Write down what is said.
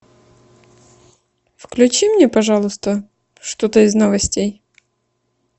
включи мне пожалуйста что то из новостей